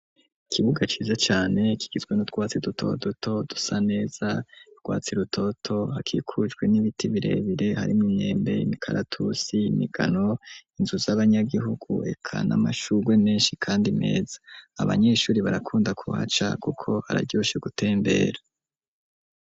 ikibuga ciza cane kigizwe n'utwatsi dutoduto dusa neza urwatsi rutoto, hakikujwe n'ibiti birebire harimwo imyembe, imikaratusi, imigano, inzu z'abanyagihugu reka n'amashurwe menshi kandi meza, abanyeshuri barakunda kuhaca kuko hararyoshe gutembera.